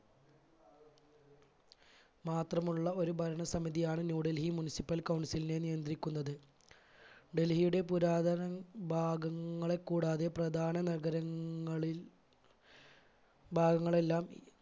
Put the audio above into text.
മാത്രമുള്ള ഒരു ഭരണസമിതിയാണ് New Delhi municipal council നെ നിയന്ത്രിക്കുന്നത്. ഡൽഹിയുടെ പുരാതന ഭാഗങ്ങളെ കൂടാതെ പ്രധാന നഗരങ്ങളിൽ ഭാഗങ്ങളെല്ലാം